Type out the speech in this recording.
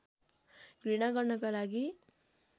घृणा गर्नका लागि